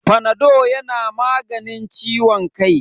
Fanado yana maganin ciwon kai.